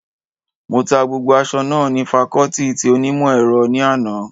Mo ta gbogbo aṣọ náà ní fakọọti ti onímọ̀ ẹ̀rọ ní àná